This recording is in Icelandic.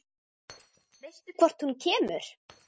Veistu hvort hún kemur?